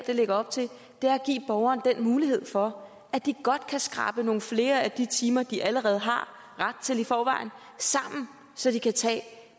lægger op til er at give borgerne den mulighed for at de godt kan skrabe nogle flere af de timer sammen de allerede har ret til i forvejen så de kan tage